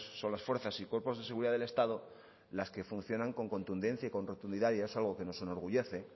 otras fuerzas y cuerpos de seguridad del estado las que funcionan con contundencia y con rotundidad y es algo que nos enorgullece